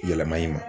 Yɛlɛma i ma